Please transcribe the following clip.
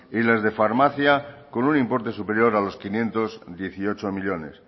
y las de farmacia con un importe superior a los quinientos dieciocho millónes